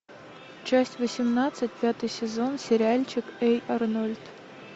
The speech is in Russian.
часть восемнадцать пятый сезон сериальчик эй арнольд